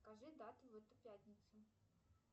скажи дату в эту пятницу